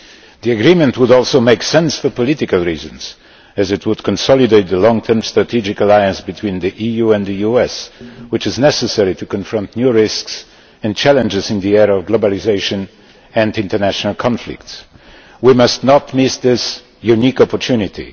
The agreement would also make sense for political reasons as it would consolidate the long term strategic alliance between the EU and the US which is necessary to confront new risks and challenges in the era of globalisation and international conflicts. We must not miss this unique opportunity